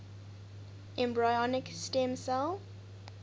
embryonic stem cell